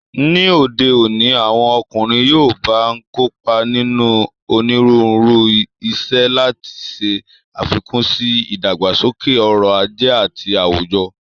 Ní òde òní, àwọn ọkùnrin yoòbá n kópa nínú onírúurú iṣẹ́, láti ṣe àfikún sí ìdàgbàsókè ọrọ̀ ajé àti àwùjọ